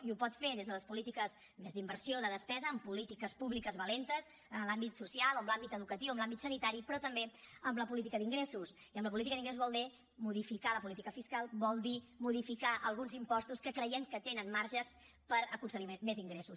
i ho pot fer des de les polítiques més d’inversió de despesa amb polítiques públiques valentes en l’àmbit social o en l’àmbit educatiu o en l’àmbit sanitari però també amb la política d’ingressos i en la política d’ingressos vol dir modificar la política fiscal vol dir modificar alguns impostos que creiem que tenen marge per aconseguir més ingressos